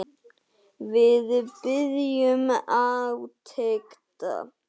Við biðum átekta.